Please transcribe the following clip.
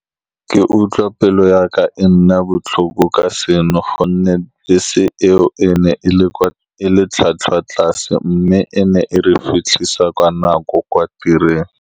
Ke utlwa pelo ya ka e nna botlhoko ka seno, ka gonne bese eo e ne e le kwa, e le tlhwatlhwa tlase, mme ene e re fitlhisa kwa nako kwa tirong.